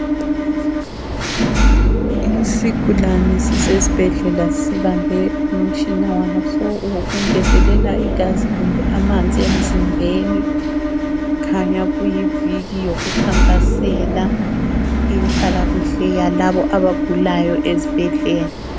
Isigulane sisesbhedlela sibambe umtshina waso wokungezelela igazi kumbe amanzi emzimbeni. Kukhanya kuyiviki yokukhankasela inhlalakuhle yalabo abagulayo ezibhedlela.